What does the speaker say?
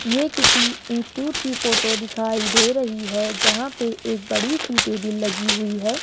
ये किसी इंस्टीट्यूट की फोटो दिखाई दे रही है जहां पे एक बड़ी सी टेबिल लगी हुई है।